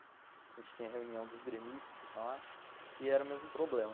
A gente tinha reunião dos gremistas lá e era o mesmo problema.